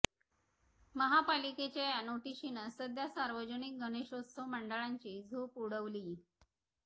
महापालिकेच्या या नोटिशीनं सध्या सार्वजनिक गणेशोत्सव मंडळांची झोप उडवलीय